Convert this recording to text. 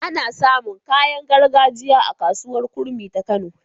Ana samun kayan gargajiya a kasuwar kurmi ta kano